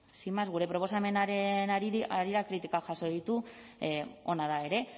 sin más gure proposamenaren harira kritikak jaso ditu ona da ere